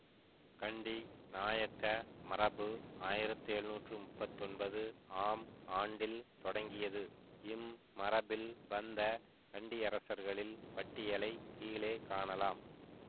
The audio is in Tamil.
கண்டி நாயக்க மரபு ஆயிரத்தி எழுநூற்றி முப்பத்தி ஒன்பது ஆம் ஆண்டில் தொடங்கியது இம் மரபில் வந்த கண்டியரசர்களில் பட்டியலைக் கீழே காணலாம்